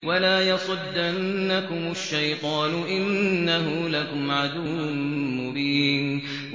وَلَا يَصُدَّنَّكُمُ الشَّيْطَانُ ۖ إِنَّهُ لَكُمْ عَدُوٌّ مُّبِينٌ